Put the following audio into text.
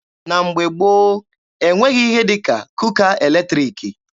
Na mgbe gboo, e nweghị ihe dị ka kuka eletriki.